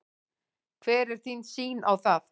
Hver er þín sýn á það?